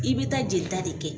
I bɛ taa jelita de kɛ.